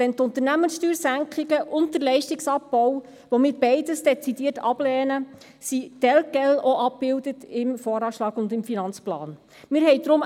Die Unternehmenssteuersenkungen und der Leistungsabbau – beides lehnen wir dezidiert ab – sind im VA und im Finanzplan auch telquel abgebildet.